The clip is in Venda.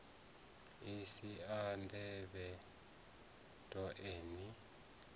si a ḓivhe toe ni